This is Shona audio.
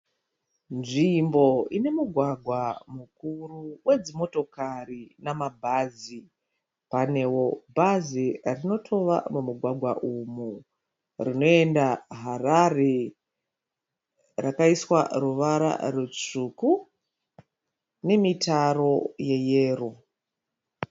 Nzvimbo ine mugwagwa mukuru wedzimotokari nemabhazi. Panewo bhazi rinotova mumugwagwa umu rinoenda Harare rakaiswa ruvara rutsvuku nemitaro neyero.